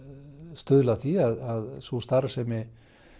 stuðla að því að sú starfsemi